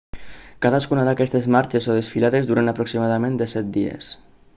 cadascuna d'aquestes marxes o desfilades duren aproximadament 17 dies